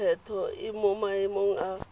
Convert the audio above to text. lekgetho e mo maemong a